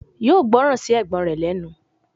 Yóò gbọ́ran sí ẹ̀gbọ́n rẹ̀ lẹ́nu